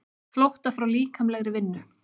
Flótta frá líkamlegri vinnu.